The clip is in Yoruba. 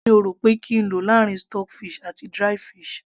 kí ni o rò pé kí n lò láàrin stock fish àti dried fish